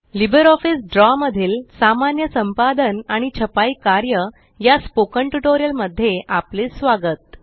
LibreOffice Draw मधील सामान्य संपादन आणि छपाई कार्य या स्पोकन टयूटोरियल मध्ये आपले स्वागत